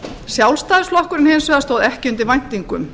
sjálfstæðisflokkurinn hins vegar stóð ekki undir væntingum